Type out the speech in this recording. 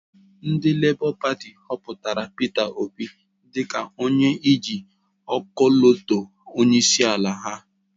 Ndị Lébọ Pati họpụtara Peter Obi dịka onye ji ọkọlọtọ onyeisiala ha.